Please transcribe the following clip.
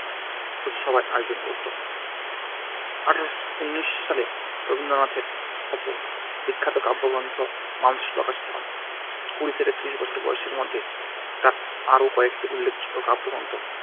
ভোজসভার আয়োজন করত। এক হাজার আট শো ঊনিশ সালে রবীন্দ্রনাথের অপর বিখ্যাত কাব্যগ্রন্থ মানসী প্রকাশিত হয়। কুড়ি থেকে ত্রিশ বছর বয়সের মধ্যে তার আরও কয়েকটি উল্লেখযোগ্য কাব্যগ্রন্থ